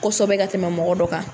Kɔsɛbɛ ka tɛmɛ mɔgɔ dɔ kan.